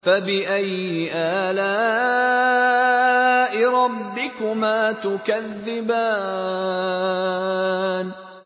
فَبِأَيِّ آلَاءِ رَبِّكُمَا تُكَذِّبَانِ